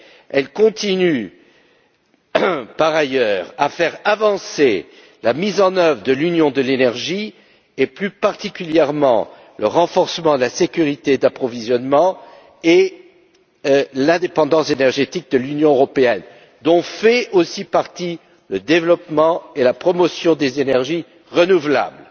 Elle continue, par ailleurs, à faire avancer la mise en œuvre de l'Union de l'énergie et, plus particulièrement, le renforcement de la sécurité d'approvisionnement et de l'indépendance énergétique de l'Union européenne, dont font aussi partie le développement et la promotion des énergies renouvelables.